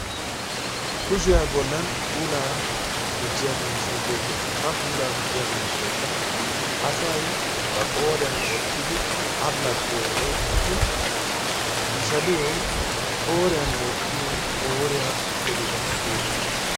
kushiyaa bollan puulaa gujjiya miishay beettees. ha pulaa gujjiyaa miishshiaykka asay ba qooriyan wottidi allaxxiyo woykko ishaliyo qooriyan wottiyo qooriyaa belecaa geetettees.